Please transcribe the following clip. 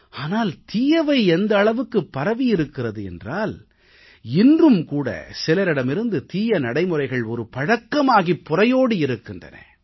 ஆனால் தீயவை எந்த அளவுக்குப் பரவியிருக்கிறது என்றால் இன்றும் கூட சிலரிடமிருந்து தீய நடைமுறைகள் ஒரு பழக்கமாகிப் புரையோடி இருக்கின்றன